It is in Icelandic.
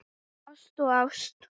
Ást og ást.